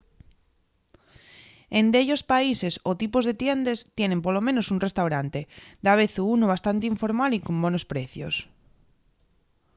en dellos países o tipos de tiendes tienen polo menos un restaurante davezu unu bastante informal y con bonos precios